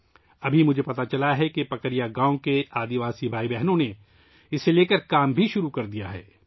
ابھی مجھے معلوم ہوا ہے کہ پکریا گاؤں کے قبائلی بھائی بہنوں نے اس پر کام شروع کر دیا ہے